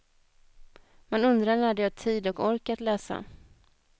Man undrar när de har tid och ork att läsa.